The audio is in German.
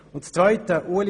Zum zweiten Punkt: